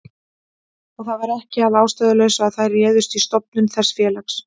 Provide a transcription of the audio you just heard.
Og það var ekki að ástæðulausu að þær réðust í stofnun þessa félags.